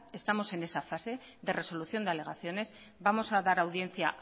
estamos en esa fase de resolución de alegaciones vamos a dar audiencia